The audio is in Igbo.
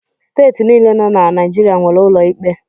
Steeti niile nọ na Naijiria nwere ụlọ ikpe.